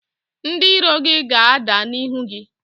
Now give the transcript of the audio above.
Ndị iro gị ga-ada n’ihu gị